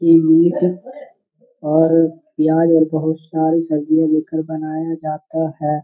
इ मीट और प्याज और बहुत सारी सब्जियां दे के बनाया जाता है।